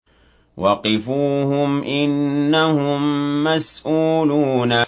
وَقِفُوهُمْ ۖ إِنَّهُم مَّسْئُولُونَ